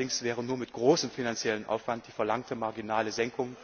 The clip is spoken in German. Allerdings wäre nur mit großem finanziellen Aufwand die verlangte marginale Senkung